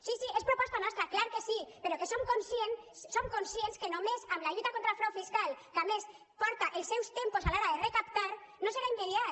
sí sí és proposta nostra clar que sí però som conscients que només amb la lluita contra el frau fiscal que a més porta els seus tempos a l’hora de recaptar no serà immediat